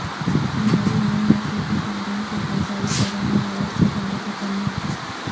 ہماری نئی نسل کی تعلیم سے بیزاری کروناوائرس سے زیادہ خطرناک